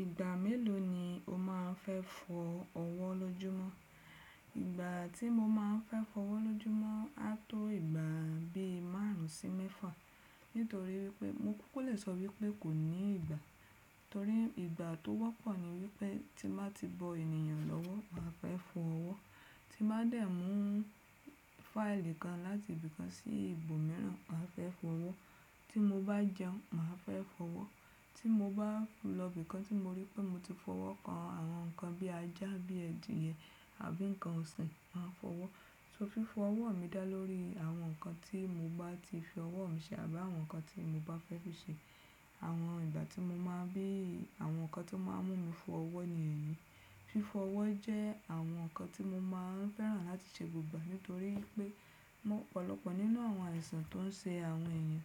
Ìgbà mélòó ni o máa ń fẹ́ fọ ọwọ́ lójúmọ́? Ìgbà tí mo máa ń fẹ́ fọ ọwọ́ lójúmọ́ ha tó ìgbà bí márùn ún sí mẹ́fà. Nítorí wípé mo kó lẹ sọ wípé kò ní ìgbà. Torí ìgbà tó wọ́pọ̀ ni wípé tí mo bá ti bọ ènìyàn lọ́wọ́ màá fẹ́ fọ ọwọ́. Tí mo bá dẹ̀ mú fáìlì kan láti ibì kan sí ibòmíràn màá fẹ́ fọ ọwọ́. Tí mo bá jẹun màá fẹ́ fọ ọwọ́. Tí mo bá lọ ibì kan tí mo rí pé mo ti fọwọ́ kan àwọn nǹkan bí ajá, bí ẹ̀dìyẹ̀ àbí nǹkan ọ̀sìn màá fọwọ́. So fífọ ọwọ́ mi dá lórí àwọn nǹkan tí mo bá ti fi ọwọ́ mi ṣẹ́ àbí àwọn nǹkan tí mo bá fẹ́ fi ṣẹ́. Àwọn ìgbà tí mo máa ń bí àwọn nǹkan tó máa ń mú mi fọ ọwọ́ ni èyí. Fífọ ọwọ́ jẹ́ àwọn nǹkan tí mo máa ń fẹ́ràn láti ṣe gbogbo ìgbà nítorí wípé ọ̀pọ̀lọpọ̀ nínú àwọn àìsàn tó ń ṣe àwọn èèyàn